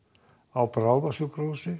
á